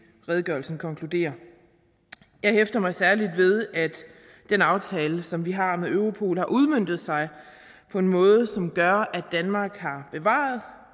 redegørelsen konkluderer jeg hæfter mig særlig ved at den aftale som vi har med europol har udmøntet sig på en måde som gør at danmark har bevaret